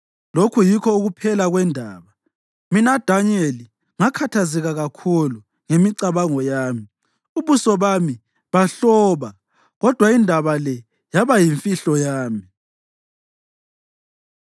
“Lokhu yikho ukuphela kwendaba. Mina Danyeli ngakhathazeka kakhulu ngemicabango yami, ubuso bami bahloba, kodwa indaba le yaba yimfihlo yami.”